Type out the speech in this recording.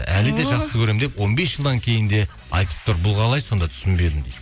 әлі де жақсы көремін деп он бес жылдан кейін де айтып тұр бұл қалай сондай түсінбедім дейді